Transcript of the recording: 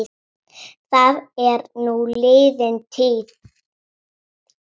Það er nú liðin tíð.